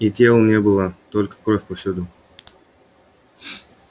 и тел не было только кровь повсюду